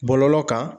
Bɔlɔlɔ kan